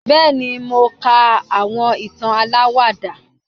bẹẹni, mò kà àwọn ìtán àláwádà